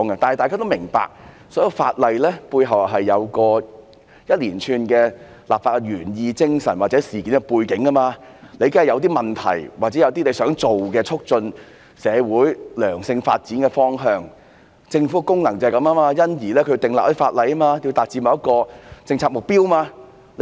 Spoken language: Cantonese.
大家都明白，所有法例背後當然有一連串的立法原意、精神或事件背景、問題或促進社會良性發展的方向，而政府的功能就是要訂立一些法例來達致某個政策目標。